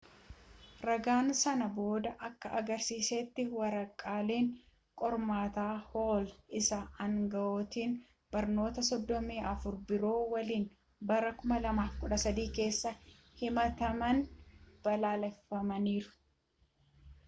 ragaan sana boodaa akka agarsiisetti waraqaaleen qormaataa hool isa aangawoota barnootaa 34 biroo waliin bara 2013 keessa himatameen balleeffamaniiru